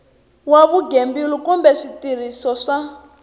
wa vugembuli kumbe switirhiso swa